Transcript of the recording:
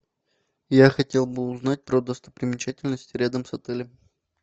я хотел бы узнать про достопримечательности рядом с отелем